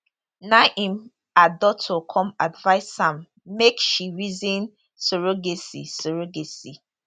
na im her doctor come advice am make she reason surrogacy surrogacy